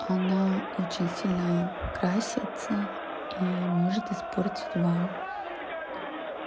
она очень сильно красится и может испортить вам